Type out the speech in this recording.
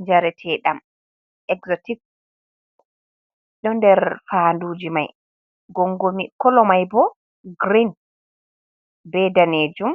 Njaretaɗam ekzotik, ɗo nder fandu ji mai gongoni. Kala mai bo grin, be danejum,